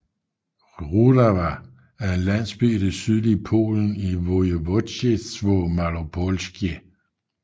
Rudawa er en landsby i det sydlige Polen i Województwo małopolskie